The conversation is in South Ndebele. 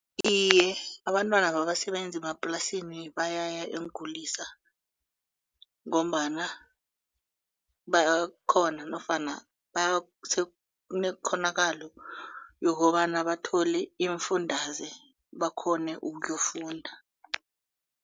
Iye, abantwana babasebenzi bemaplasini bayaya eenkulisa ngombana bayakghona nofana kunekghonakalo yokobana bathole iimfundaze bakghone ukuyofunda.